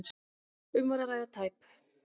Um var að ræða tæp